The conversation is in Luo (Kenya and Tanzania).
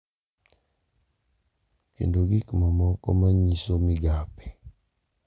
Kendo gik mamoko ma nyiso migape.